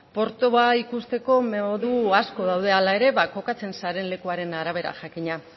portua ikusteko modu asko daude hala ere kokatzen zaren lekuaren arabera jakina